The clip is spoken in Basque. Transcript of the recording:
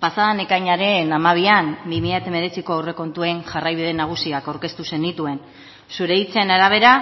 pasaden ekainaren hamabian bi mila hemeretziko aurrekontuen jarraibide nagusiak aurkeztu zenituen zure hitzen arabera